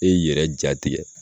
E yi yɛrɛ jatigɛ